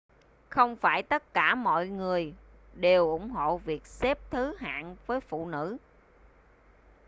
không phải tất cả mọi người đều ủng hộ việc xếp thứ hạng với phụ nữ